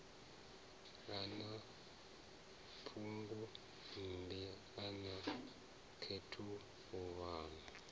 a na phungommbi a khethululwa